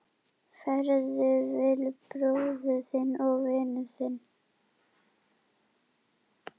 Farðu vel, bróðir og vinur.